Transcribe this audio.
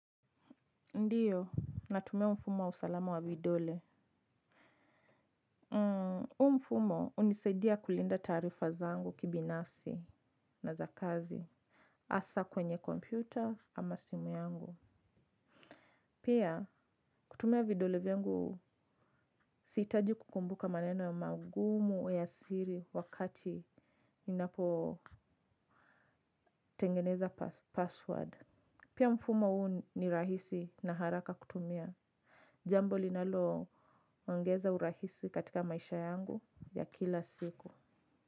Ndiyo, natumia mfumo wa usalama wa vidole. Huu mfumo unisaidia kulinda taarifa zangu kibinasi na za kazi. Asa kwenye kompyuta ama simu yangu. Pia, kutumia vidole vyangu siitaji kukumbuka maneno ya magumu ya siri wakati ninapotengeneza password. Pia mfumo huu ni rahisi na haraka kutumia. Jambo linaloongeza urahisi katika maisha yangu ya kila siku.